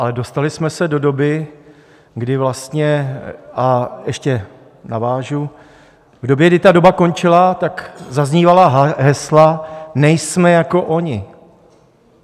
Ale dostali jsme se do doby, kdy vlastně, a ještě navážu: v době, kdy ta doba končila, tak zaznívala hesla Nejsme jako oni!